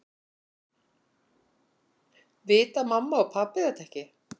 Vita mamma og pabbi þetta ekki?